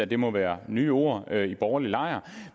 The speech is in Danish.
det må være nye ord i den borgerlige lejr